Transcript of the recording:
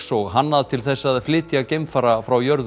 og hannað til þess að flytja geimfara frá jörðu